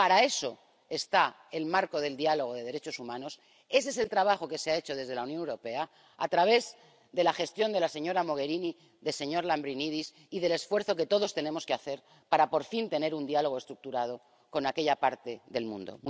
Pero para eso está el marco del diálogo de derechos humanos. Ese es el trabajo que se ha hecho desde la Unión Europea a través de la gestión de la señora Mogherini, del señor Lambrinidis y del esfuerzo que todos tenemos que hacer para, por fin, tener un diálogo estructurado con aquella parte del mundo.